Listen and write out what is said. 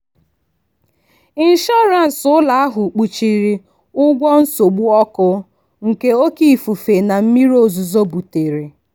inshọrans ụlọ ahụ kpuchiri ụgwọ nsogbu ọkụ nke oké ifufe na mmiri ozuzo butere.